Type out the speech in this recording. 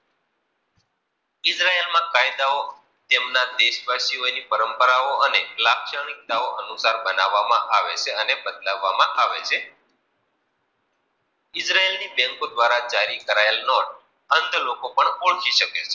કઈ દઉ તેમની દેશ વાસીઓ ની પરંપરાઓ અને લાક્ષણિકતાઓ, અનુસાર બનાવવા આવે છે અને બદલવામાં આવે છે ઈજરાયલની બેન્કો દ્વારા જારી કરાયલ અંત લોકો પણ ઓળખી શકે છે.